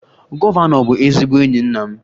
Gọvanọ bụ ezigbo enyi nna m